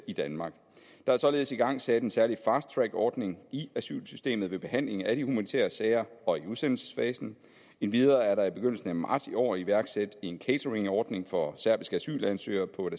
i danmark der er således igangsat en særlig fast track ordning i asylsystemet ved behandling af de humanitære sager og i udsendelsesfasen endvidere er der i begyndelsen af marts i år iværksat en cateringordning for serbiske asylansøgere på et